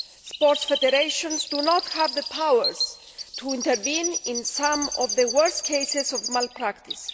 sports federations do not have the powers to intervene in some of the worse cases of malpractice.